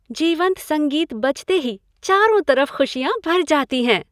जीवंत संगीत बजते ही चारों तरफ खुशियाँ भर जाती है।